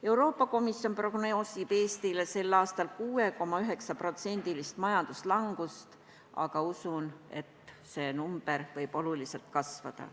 Euroopa Komisjon prognoosib Eestile sel aastal 6,9% majanduslangust, aga ma usun, et see number võib oluliselt kasvada.